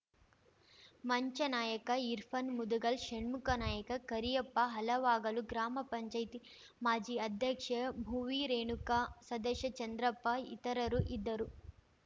ಮಂಜಾ ನಾಯ್ಕ ಇರ್ಫಾನ್‌ ಮುದಗಲ್‌ ಷಣ್ಮುಖ ನಾಯ್ಕ ಕರಿಯಪ್ಪ ಹಲವಾಗಲು ಗ್ರಾಮ ಪಂಚಾಯತಿ ಮಾಜಿ ಅಧ್ಯಕ್ಷೆ ಭುವಿ ರೇಣುಕಮ್ಮ ಸದಸ್ಯ ಚಂದ್ರಪ್ಪ ಇತರರು ಇದ್ದರು